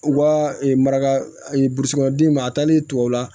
U ka maraka burusi kɔnɔ d'i ma a taalen tubabu la